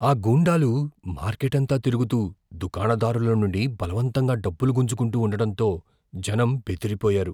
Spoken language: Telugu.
ఆ గూండాలు మార్కెట్ అంతా తిరుగుతూ దుకాణదారుల నుండి బలవంతంగా డబ్బులు గుంజుకుంటూ ఉండడంతో జనం బెదిరిపోయారు.